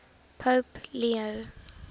pope leo